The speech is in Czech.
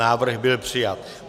Návrh byl přijat.